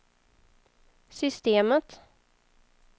systemet